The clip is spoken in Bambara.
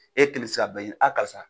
E kelen tɛ se ka bɛɛ ɲini, karisa